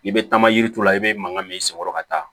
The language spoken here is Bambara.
I bɛ taama yiri turu i bɛ mankan min senkɔrɔ ka taa